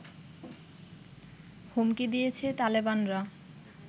হুমকি দিয়েছে তালেবানরা